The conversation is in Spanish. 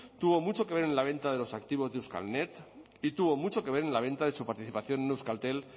tuvo mucho que ver en la venta de los activos de euskalnet y tuvo mucho que ver en la venta de su participación en euskaltel